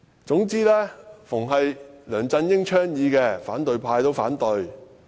總之但凡梁振英倡議的，反對派也反對......